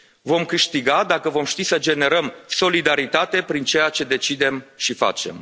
Vom câștiga dacă vom ști să generăm solidaritate prin ceea ce decidem și facem.